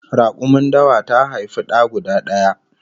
Rakumin dawa ta haifi da guda daya